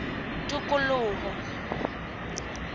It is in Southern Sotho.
tikoloho